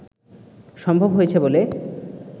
সম্ভব হয়েছে বলে